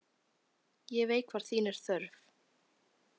Ég veit hvar þín er þörf.